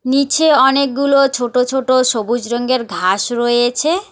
নীচে অনেকগুলো ছোট ছোট সবুজ রঙের ঘাস রয়েছে।